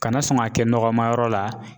Kana sɔn ka kɛ nɔgɔma yɔrɔ la.